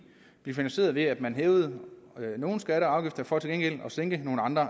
blev finansieret ved at man hævede nogle skatter og afgifter for til gengæld at sænke nogle andre